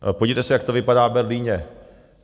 Podívejte se, jak to vypadá v Berlíně.